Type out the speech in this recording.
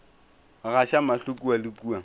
gaša mahlo kua le kua